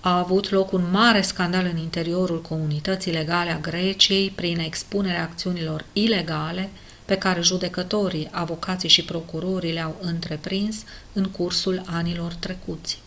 a avut loc un mare scandal în interiorul comunității legale a greciei prin expunerea acțiunilor ilegale pe care judecătorii avocații și procurorii le-au întreprins în cursul anilor trecuți